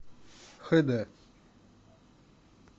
хэ дэ